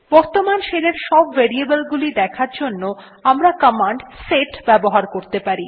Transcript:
বর্তমান শেল এর সব ভ্যারিয়েবলস দেখার জন্য আমরা কমান্ড সেট ব্যবহার করতে পারি